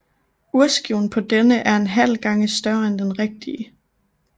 Urskiven på denne er en halv gange større end den rigtige